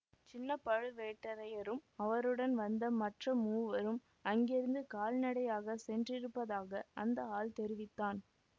சின்ன பழுவேட்டரையரும் அவருடன் வந்த மற்ற மூவரும் அங்கிருந்து கால் நடையாகச் சென்றிருப்பதாக அந்த ஆள் தெரிவித்தான்